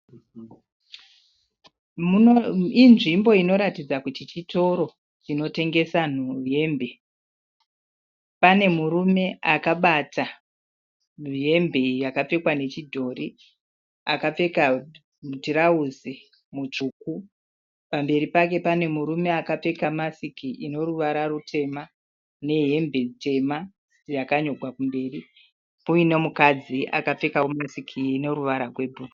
Inzvimbo inoratidza kuti chitoro chinotengesa hembe. Pane murume akabata hembe yakapfekwa nechidhori. Akapfeka muturauzi mutsvuku pamberi pake pane murume akapfeka masiki inoruvara rutema nehembe tema yakanyorwa kumberi kuine mukadzi akapfekawo masiki ine ruvara rwebhuru.